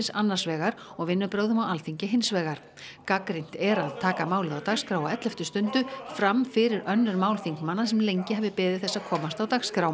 annars vegar og vinnubrögðum á Alþingi hins vegar gagnrýnt er að taka málið á dagskrá á elleftu stundu fram fyrir önnur mál þingmanna sem lengi hafi beðið þess að komast á dagskrá